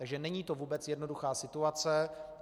Takže není to vůbec jednoduchá situace.